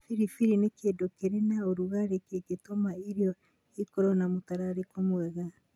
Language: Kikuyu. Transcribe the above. Biribiri nĩ kĩndũ kĩrĩ na ũrugarĩ kĩngĩtũma irio ikorũo na mũtararĩko mwega.